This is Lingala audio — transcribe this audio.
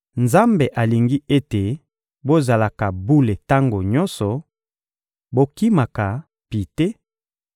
Nzambe alingi ete bozalaka bule tango nyonso: bokimaka pite;